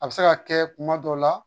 A bɛ se ka kɛ kuma dɔw la